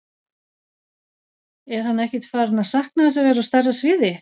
Er hann ekkert farinn að sakna þess að vera á stærra sviði?